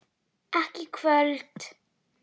Ekki í kvöld.